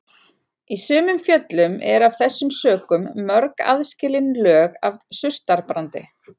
Í sumum fjöllum eru af þessum sökum mörg aðskilin lög af surtarbrandi.